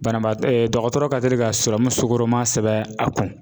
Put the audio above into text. Banabaatɔ dɔgɔtɔrɔ ka teli ka sukɔrɔma sɛbɛn a kun